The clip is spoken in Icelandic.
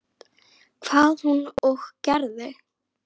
Hvað hún og gerði.